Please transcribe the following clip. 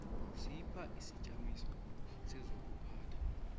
sipha isijamiso sezokuphatha